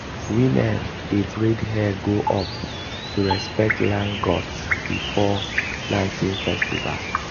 women dey braid hair go up to respect land gods before planting festival.